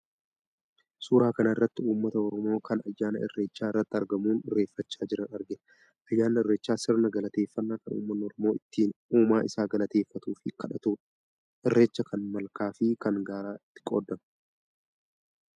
Suueaa kanarratti uummata Oromoo kan ayyaana irreechaa irratti argamuun irreeffachaa jiran argina. Ayyaanni irreechaa sirna galateeffannaa kan uummanni Oromoo ittiin uumaa isaa galateeffatuu fi kadhatudha. Irreecha kan malkaa fi kan gaaraa ltti qoodama.